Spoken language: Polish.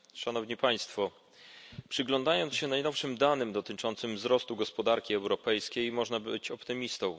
Szanowni Państwo! Przyglądając się najnowszym danym dotyczącym wzrostu gospodarki europejskiej, można być optymistą.